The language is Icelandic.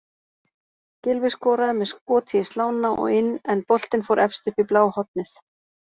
Gylfi skoraði með skoti í slána og inn en boltinn fór efst upp í bláhornið.